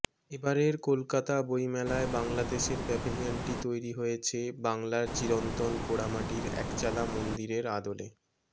এবারের কলকাতা বইমেলায় বাংলাদেশের প্যাভেলিয়নটি তৈরি হয়েছে বাংলার চিরন্তন পোড়ামাটির একচালা মন্দিরের আদলে